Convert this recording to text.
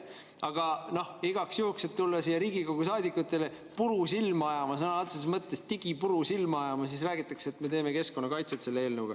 Aga igaks juhuks, et tulla siia Riigikogu saadikutele puru silma ajama, sõna otseses mõttes digipuru silma ajama, siis räägitakse, et me teeme keskkonnakaitset selle eelnõuga.